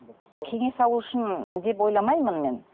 кеңес алу үшін деп ойламаймын мен